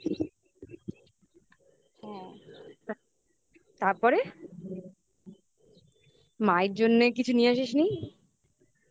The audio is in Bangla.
হ্যাঁ. তারপরে? মায়ের জন্য কিছু নিয়ে আসিস নি